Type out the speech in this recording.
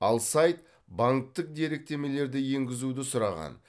ал сайт банктік деректемелерді енгізуді сұраған